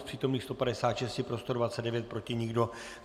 Z přítomných 156 pro 129, proti nikdo.